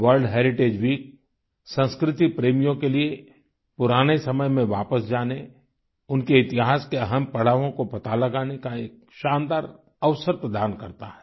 world heritage week संस्कृति प्रेमियों के लिये पुराने समय में वापस जाने उनके इतिहास के अहम् पड़ावों को पता लगाने का एक शानदार अवसर प्रदान करता है